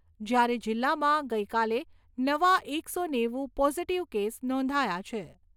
જ્યારે જિલ્લામાં ગઈકાલે નવા એકસો નેવુ પોઝીટીવ કેસ નોંધાયા છે.